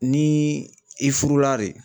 Ni i furula de.